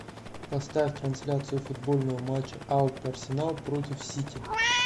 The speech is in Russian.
поставь трансляцию футбольного матча апл арсенал против сити